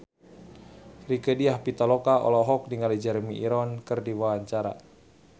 Rieke Diah Pitaloka olohok ningali Jeremy Irons keur diwawancara